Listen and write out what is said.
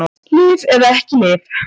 Lyf eða ekki lyf